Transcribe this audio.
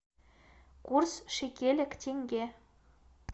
курс шекеля к тенге